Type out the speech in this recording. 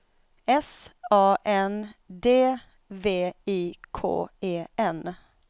S A N D V I K E N